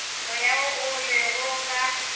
moya wo o lego ka